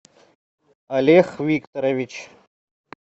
олег викторович